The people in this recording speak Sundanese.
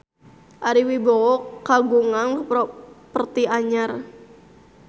Ari Wibowo kagungan properti anyar